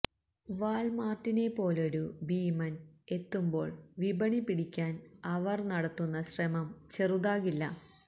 വാള്മാര്ട്ടിനെപ്പോലൊരു ഭീമന് എത്തുമ്പോള് വിപണി പിടിക്കാന് അവര് നടത്തുന്ന ശ്രമം ചെറുതാകില്ല